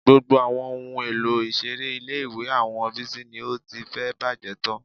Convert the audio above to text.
Gbogbo àwọn ohun èlò ìṣeré ilé-ìwé àwọn Bísí ni ó ti fẹ́ẹ̀ bàjẹ́ tán